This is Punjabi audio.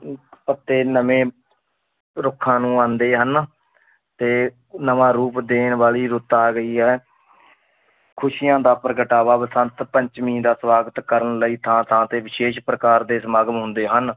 ਪੱਤੇ ਨਵੇਂ ਰੁੱਖਾਂ ਨੂੰ ਆਉਂਦੇ ਹਨ ਤੇ ਨਵਾਂ ਰੂਪ ਦੇਣ ਵਾਲੀ ਰੁੱਤ ਆ ਗਈ ਹੈ ਖ਼ੁਸ਼ੀਆਂ ਦਾ ਪ੍ਰਗਟਾਵਾ ਬਸੰਤ ਪੰਚਮੀ ਦਾ ਸਵਾਗਤ ਕਰਨ ਲਈ ਥਾਂ-ਥਾਂ 'ਤੇ ਵਿਸ਼ੇਸ਼ ਪ੍ਰਕਾਰ ਦੇ ਸਮਾਗਮ ਹੁੰਦੇ ਹਨ।